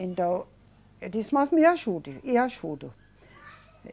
Então, eu disse, mas me ajude, e ajudo.